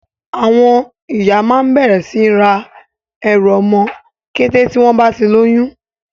Àwọn ìyá máa ń bẹ̀rẹ̀ sí ní ra ẹrù ọmọ kété tí wọ́n bá ti lóyún.